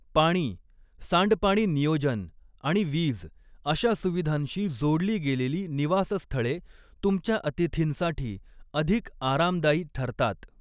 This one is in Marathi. पाणी, सांडपाणी नियोजन आणि वीज अशा सुविधांशी जोडली गेलेली निवासस्थळे तुमच्या अतिथींसाठी अधिक आरामदायी ठरतात.